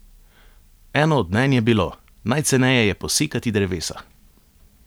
Eno od mnenj je bilo: "Najceneje je posekati drevesa.